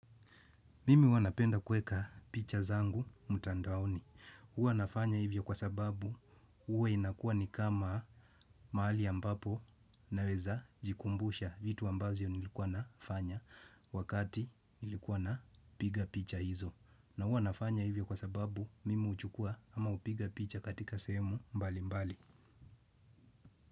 Mimi huwa napenda kuweka picha zangu mtandaoni. Huwa nafanya hivyo kwa sababu huwa inakuwa ni kama mahali ambapo naweza jikumbusha vitu ambavyo nilikuwa nafanya wakati nilikuwa napiga picha hizo. Na huwa nafanya hivyo kwa sababu mimi huchukua ama hupiga picha katika sehemu mbalimbali.